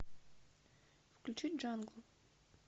включить джангл